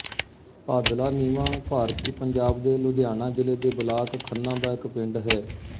ਭਾਦਲਾ ਨੀਵਾਂ ਭਾਰਤੀ ਪੰਜਾਬ ਦੇ ਲੁਧਿਆਣਾ ਜ਼ਿਲ੍ਹੇ ਦੇ ਬਲਾਕ ਖੰਨਾ ਦਾ ਇੱਕ ਪਿੰਡ ਹੈ